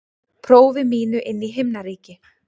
prófi mínu inn í himnaríki.